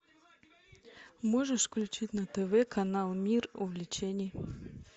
можешь включить на тв канал мир увлечений